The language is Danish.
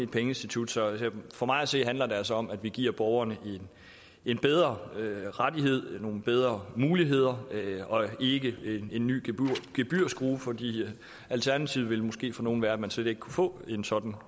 pengeinstitut så for mig at se handler det altså om at vi giver borgerne en bedre rettighed nogle bedre muligheder og ikke en ny gebyrskrue for alternativet ville måske for nogle være at man slet ikke kunne få en sådan